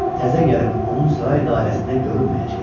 Təzə gəlin onun saray dairəsində görünməyəcək.